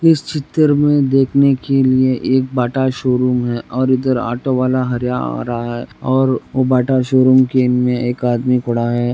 इस चित्र में देखने के लिए एक बाटा शोरूम है और इधर ऑटो बाला हर्या आ रहा हे और वो बाटा शोरूम के में एक आदमी खड़ा है।